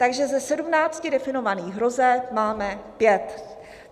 Takže ze sedmnácti definovaných hrozeb máme pět.